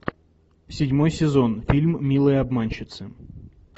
седьмой сезон фильм милые обманщицы